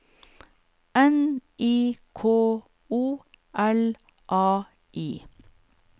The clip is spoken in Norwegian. N I K O L A I